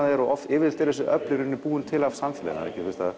er yfirleitt eru þessi öfl búin til af samfélaginu